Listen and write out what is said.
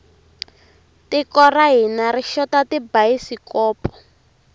tiko ra hina ri xota tibayisikopo